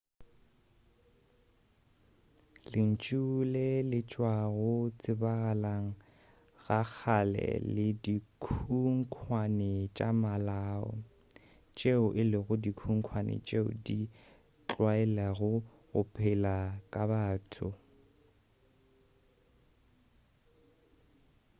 lentšu le le tšwa go tsebagaleng ga kgale le dikhunkwane tša malao tšeo e lego dikhunkhwane tšeo di tlwaelago go pela ka batho